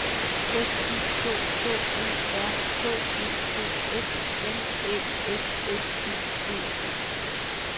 S I K K E R H E D S M Æ S S I G E